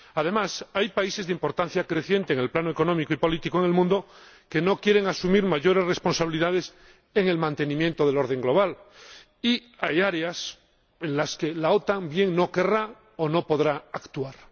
Además, hay países de importancia creciente en el plano económico y político del mundo que no quieren asumir mayores responsabilidades en el mantenimiento del orden global, y hay áreas en las que la OTAN bien no querrá o no podrá actuar.